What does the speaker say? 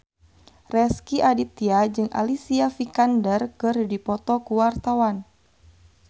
Rezky Aditya jeung Alicia Vikander keur dipoto ku wartawan